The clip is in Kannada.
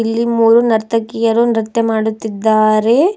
ಇಲ್ಲಿ ಮೂರು ನರ್ತಕಿಯರು ನೃತ್ಯ ಮಾಡುತ್ತಿದ್ದಾರೆ.